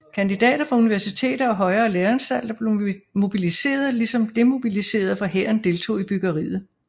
Kandidater fra universiteter og højere læreanstalter blev mobiliseret ligesom demobiliserede fra hæren deltog i byggeriet